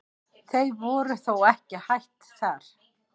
Þau voru þó ekki hætt þar.